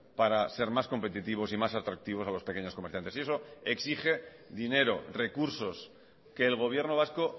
para ser más competitivos y más atractivos a los pequeños comerciantes y eso exige dinero recursos que el gobierno vasco